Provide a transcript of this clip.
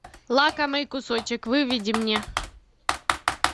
лакомый кусочек выведи мне